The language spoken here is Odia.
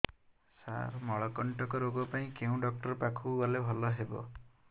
ସାର ମଳକଣ୍ଟକ ରୋଗ ପାଇଁ କେଉଁ ଡକ୍ଟର ପାଖକୁ ଗଲେ ଭଲ ହେବ